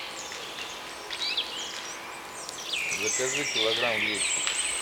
закажи килограмм гречки